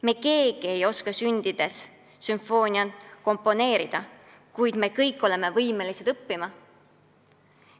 Me keegi ei oska siia ilma sündinuna sümfooniat komponeerida, kuid me kõik oleme võimelised midagi õppima.